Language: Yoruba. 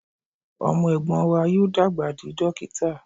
Ọmọ ẹ̀gbọ́n wa yóò dàgbà di dókítà